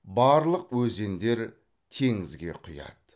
барлық өзендер теңізге құяды